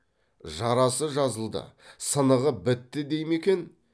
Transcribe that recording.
жарасы жазылды сынығы бітті дей ме екен